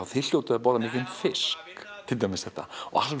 þið hljótið að borða mikinn fisk og